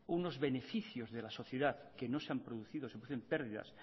unos beneficios de la sociedad que no se han producido se producen perdidas